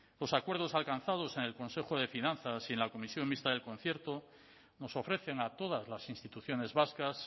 los acuerdos alcanzados en el consejo de finanzas y en la comisión mixta del concierto nos ofrecen a todas las instituciones vascas